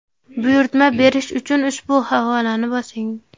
Buyurtma berish uchun ushbu havolani bosing.